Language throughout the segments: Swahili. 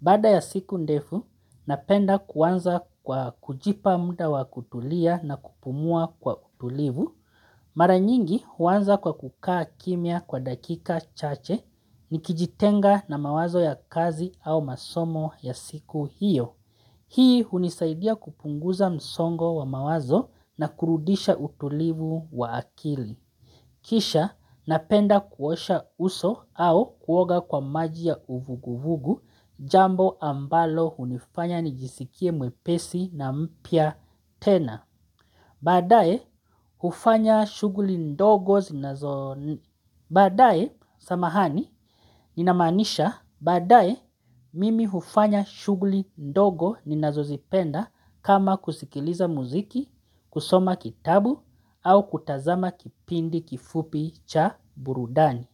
Baada ya siku ndefu, napenda kuanza kwa kujipa muda wa kutulia na kupumua kwa utulivu. Mara nyingi huanza kwa kukaa kimya kwa dakika chache nikijitenga na mawazo ya kazi au masomo ya siku hiyo. Hii hunisaidia kupunguza msongo wa mawazo na kurudisha utulivu wa akili. Kisha napenda kuosha uso au kuoga kwa maji ya uvuguvugu jambo ambalo hunifanya nijisikie mwepesi na mpya tena. Baadaye, hufanya shughuli ndogo zinazo nip, baadaye samahani, ninamaanisha baadaye, mimi hufanya shughuli ndogo ninazozipenda kama kusikiliza muziki, kusoma kitabu au kutazama kipindi kifupi cha burudani.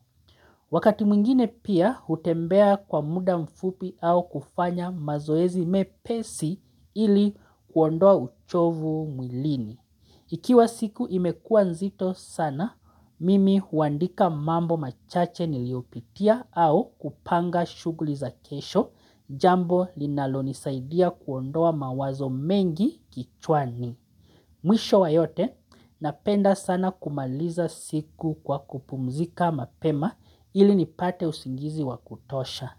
Wakati mwingine pia, hutembea kwa muda mfupi au kufanya mazoezi mepesi ili kuondoa uchovu mwilini. Ikiwa siku imekua nzito sana, mimi huandika mambo machache niliopitia au kupanga shuguli za kesho jambo linalonisaidia kuondoa mawazo mengi kichwani. Mwisho wa yote, napenda sana kumaliza siku kwa kupumzika mapema ili nipate usingizi wakutosha.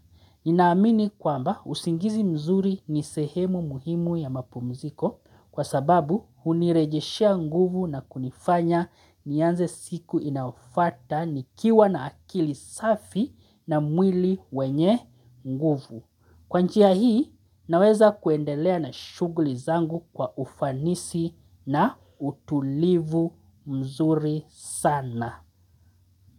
Ninaamini kwamba usingizi mzuri nisehemu muhimu ya mapumziko kwa sababu hunirejeshia nguvu na kunifanya nianze siku inayofuata nikiwa na akili safi na mwili wenye nguvu. Kwa njia hii naweza kuendelea na shuguli zangu kwa ufanisi na utulivu mzuri sana.